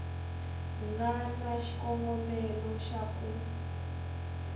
nga na xikongomelo xa ku